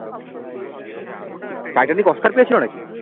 Titanic Oscar পেয়েছিল নাকি?